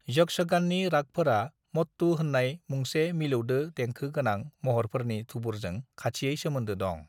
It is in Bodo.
यक्षगाननि रागफोरा मट्टु होननाय मुंसे मिलौदो देंखो गोनां महरफोरनि थुबुरजों खाथियै सोमोनदो दं।